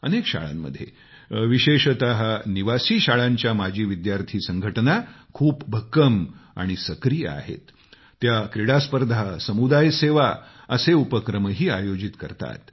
अनेक शाळांमध्ये विशेषतः निवासी शाळांच्या माजी विद्यार्थी संघटना खूप भक्कम आणि सक्रीय आहेत त्या क्रीडा स्पर्धा आणि समुदाय सेवा असे उपक्रमही आयोजित करतात